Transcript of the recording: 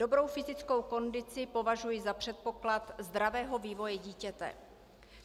Dobrou fyzickou kondici považuji za předpoklad zdravého vývoje dítěte.